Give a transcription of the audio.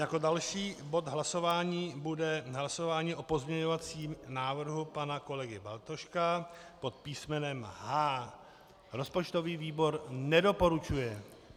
Jako další bod hlasování bude hlasování o pozměňovacím návrhu pana kolegy Bartoška pod písmenem H. Rozpočtový výbor nedoporučuje.